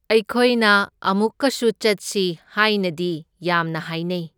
ꯑꯩꯈꯣꯏꯅ ꯑꯃꯨꯛꯀꯁꯨ ꯆꯠꯁꯤ ꯍꯥꯢꯅꯗꯤ ꯌꯥꯝꯅ ꯍꯥꯏꯅꯩ꯫